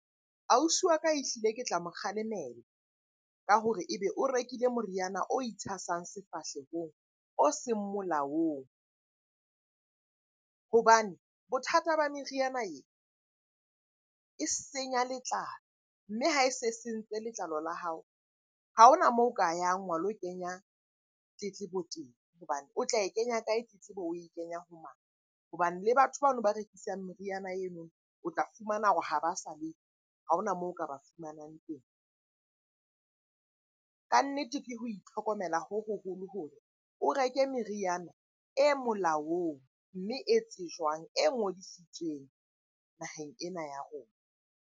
Ausi wa ka ehlile ke tla mo kgalemela ka hore e be o rekile moriana o itshasang sefahlehong o seng molaong. Hobane bothata ba meriana e, e senya letlalo. Mme ha e se e sentse letlalo la hao, ha hona moo o ka yang wa lo kenya tletlebo teng hobane o tla e kenya kae tletlebo oe kenya ho mang? Hobane le batho bano ba rekisang meriana eno, o tla fumana hore ha ba sa ha hona moo o ka ba fumanang teng. Kannete ke ho itlhokomela ho hoholo hore o reke meriana e molaong, mme e tsejwang, e ngodisitsweng naheng ena ya rona.